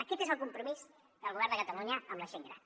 aquest és el compromís del govern de catalunya amb la gent gran